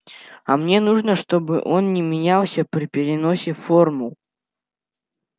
а мне нужно чтобы он не менялся при переносе формул